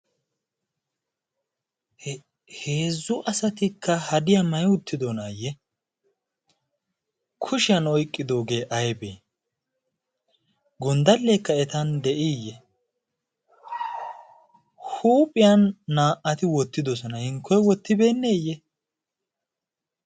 heezzu asatikka hadiyaa may uttidonaayye kushiyan oyqqidoogee aybee gonddalleekka etan de'iiyye huuphiyan naa''ati wottidosona inkkoy wottibeenneeyye